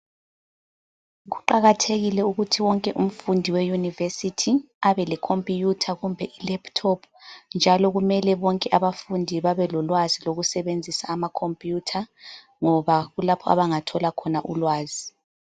Kuqakathekile ukuthi wonke umfundi weyunivesithi abe lekhompuyutha kumbe ilephuthophu. Njalo kumele bonke abafundi babe lolwazi lokusebenzisa ama khompuyutha, ngoba kulapho abangathola khona ulwazi.